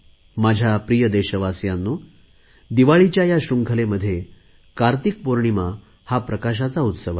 माझ्या प्रिय देशवासियांनो दिवाळीच्या या शृंखलेमध्ये कार्तिक पौर्णिमा हा प्रकाशाचा उत्सव आहे